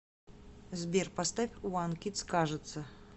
сбер поставь опен кидс кажется